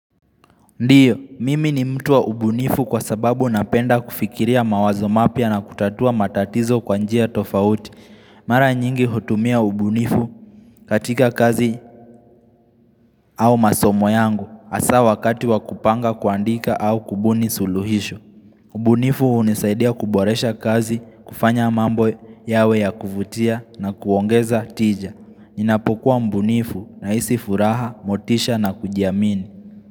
Ndiyo, mimi ni mtu wa ubunifu kwa sababu napenda kufikiria mawazo mapya na kutatua matatizo kwanjia tofauti. Mara nyingi hutumia ubunifu katika kazi au masomo yangu asa wakati wakupanga kuandika au kubuni suluhisho. Ubunifu unisaidia kuboresha kazi, kufanya mambo yawe ya kuvutia na kuongeza tija. Ninapokuwa mbunifu na isi furaha, motisha na kujiamini.